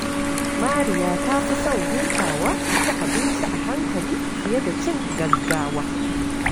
Mariya ta fi son hutawa ta ci abinci a hankali fiye da cin gaggawa.